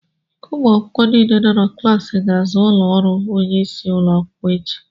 ụmụ akwụkwọ niile nọ na klaasị a ga-aza ụlọ ọrụ onye isi ụlọ akwụkwọ echi